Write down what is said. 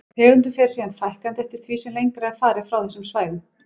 Tegundum fer síðan fækkandi eftir því sem lengra er farið frá þessum svæðum.